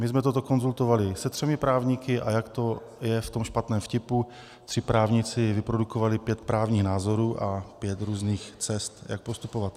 My jsme toto konzultovali se třemi právníky, a jak to je v tom špatném vtipu, tři právníci vyprodukovali pět právních názorů a pět různých cest, jak postupovat.